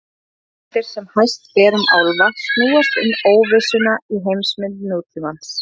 Þær hugmyndir sem hæst ber um álfa snúast um óvissuna í heimsmynd nútímans.